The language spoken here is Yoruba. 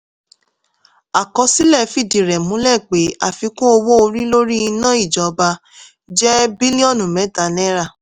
àkọsílẹ̀ fìdí rẹ̀ múlẹ̀ pé àfikún owó orí lórí iná ìjọba jẹ́ bílíọ̀nù mẹ́ta náírà.